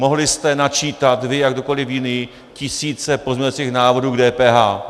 Mohli jste načítat vy a kdokoliv jiný tisíce pozměňovacích návrhů k DPH.